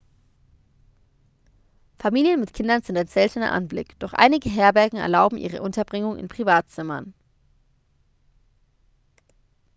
familien mit kindern sind ein seltener anblick doch einige herbergen erlauben ihre unterbringung in privatzimmern